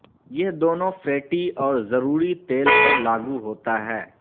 یہ دونوں فیٹی اور ضروری تیل پر لاگو ہوتا ہے